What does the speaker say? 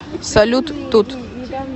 салют тут